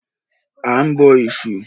A ń bọ Ẹ̀sù.